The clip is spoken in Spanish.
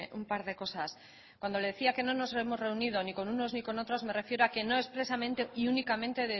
un par de cosas cuando le decía que no nos hemos reunido ni con unos ni con otros me refiero a que no expresamente y únicamente